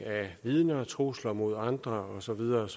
af vidner trusler mod andre og så videre og